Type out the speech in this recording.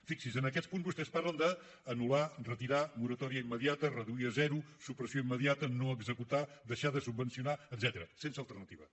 fixin se en aquests punts vostès parlen d’ anul·lar retirar moratòria immediata reduir a zero supressió immediata no executar deixar de subvencionar etcètera sense alternativa